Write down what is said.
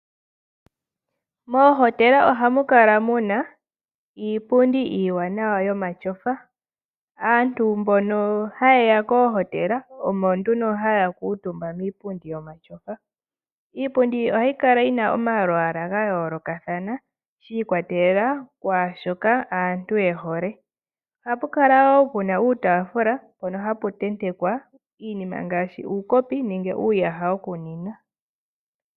Moohotela ohamu kala mu na iipundi iiwanawa yomatyofa. Aantu mbono haye ya koohotela, omo nduno haya kuutumba miipundi yomatyofa. Iipundi ohayi kala yi na omalwaala ga yoolokathana, shi ikwatelela kwaa shoka aantu ye hole. Ohapu kala wo pu na uutaafula mpono hapu tentekwa iinima ngaashi uukopi nenge uuyaha wokunwina.